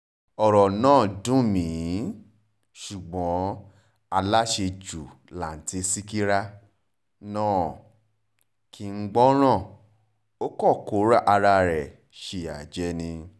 ọ̀rọ̀ náà dùn mí ṣùgbọ́n aláṣejù launti sịkírà náà kì í gbọ́ràn ó kàn kó ara ẹ̀ síyá jẹ ni